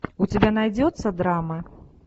у тебя найдется драмы